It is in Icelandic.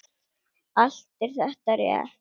Allt er þetta rétt.